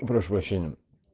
прошу прощения